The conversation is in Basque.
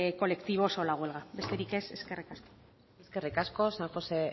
colectivos o la huelga besterik ez eskerrik asko eskerrik asko san josé